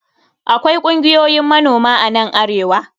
Akwai kungiyoyin manoma a nan arewa.